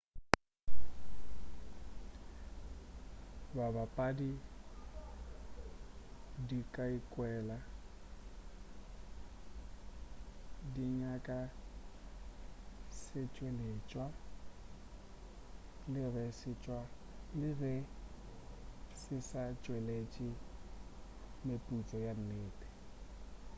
dibapadi di ka ikwela di nyaka setšweletšwa le ge se sa tšweletši meputso ya nnete